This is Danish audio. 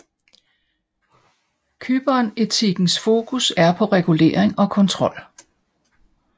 Kybernetikkens fokus er på regulering og kontrol